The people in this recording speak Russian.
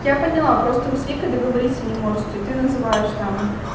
я поняла просто вы с викой договориться не можете ты называешь там